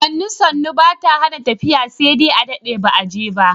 Sannu sannu ba ta hana tafiya sai dai adaɗe ba a jefa.